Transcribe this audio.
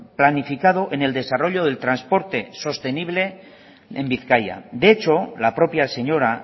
planificado en el desarrollo del transporte sostenible en bizkaia de hecho la propia señora